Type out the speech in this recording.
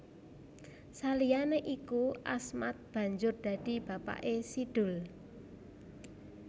Saliyané iku Asmad banjur dadi bapaké Si Doel